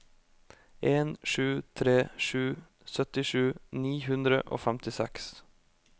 en sju tre sju syttisju ni hundre og femtiseks